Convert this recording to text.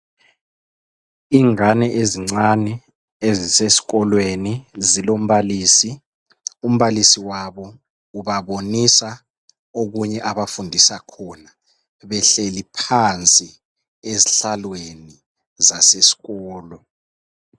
Ingane ezincane eziseskolweni zilombalisi. Umbalisi wabo ubabonisa okunye abafundisa khona. Behleli phansi ezihlalweni zaseskolo.